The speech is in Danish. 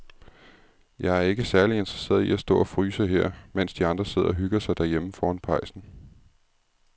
Jeg er ikke særlig interesseret i at stå og fryse her, mens de andre sidder og hygger sig derhjemme foran pejsen.